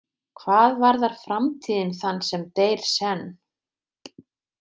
Hvað varðar framtíðin þann sem deyr senn?